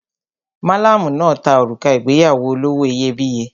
Malamu náà ta òrùka ìgbéyàwó olówó iyebíye.